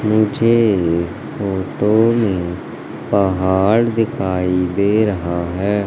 मुझे इस फोटो में पहाड़ दिखाई दे रहा है।